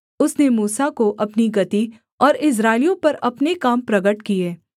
उसने मूसा को अपनी गति और इस्राएलियों पर अपने काम प्रगट किए